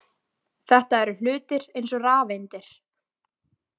Þetta eru hlutir eins og rafeindir.